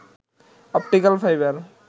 optical fibre